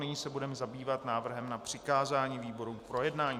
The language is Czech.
Nyní se budeme zabývat návrhem na přikázání výborům k projednání.